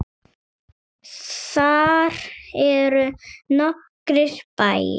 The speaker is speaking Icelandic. Þar eru nokkrir bæir.